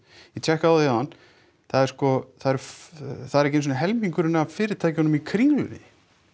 ég tekkaði á því áðan það er sko ekki einu sinni helmingurinn af fyrirtækjunum í Kringlunni